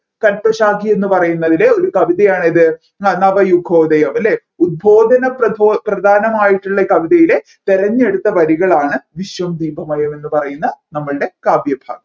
കൽപശാഖിയെന്നു പറയുന്നതിലെ ഒരു കവിതയാണ് ഏതു നവായുഗോദയം അല്ലെ ഉത്‌ബോധനം പ്രബോ പ്രധാനമായിട്ടുള്ള കവിതയിലെ തിരഞ്ഞെടുത്ത വരികളാണ് വിശ്വം ദീപമഴ എന്നു പറയുന്ന നമ്മൾടെ കാവ്യഭാഗം